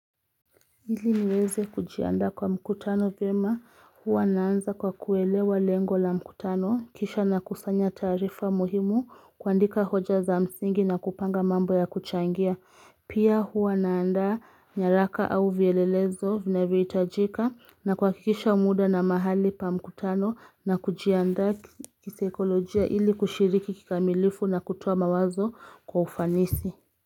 Ili niweze kujiandaa kwa mkutano vyema huwa naanza kwa kuelewa lengo la mkutano kisha na kusanya taarifa muhimu kuandika hoja za msingi na kupanga mambo ya kuchangia Pia huwa naanda nyaraka au vielelezo vinaevyo hitajika na kuhakikisha muda na mahali pa mkutano na kujiandaa kisekolojia ili kushiriki kikamilifu na kutoa mawazo kwa ufanisi.